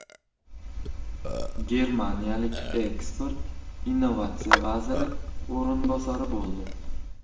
Germaniyalik ekspert innovatsiya vaziri o‘rinbosari bo‘ldi.